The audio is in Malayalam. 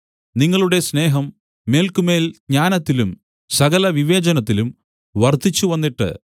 നിങ്ങളുടെ സ്നേഹം മേല്ക്കുമേൽ ജ്ഞാനത്തിലും സകലവിവേചനത്തിലും വർദ്ധിച്ചു വന്നിട്ട്